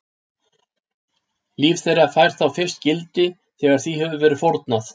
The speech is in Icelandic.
Líf þeirra fær þá fyrst gildi þegar því hefur verið fórnað.